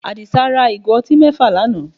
Àdìsá ra ìgò ọtí mẹ́fà lánàá